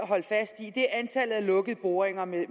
at af lukkede boringer med